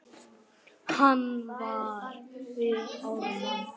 Hann var við Ármann.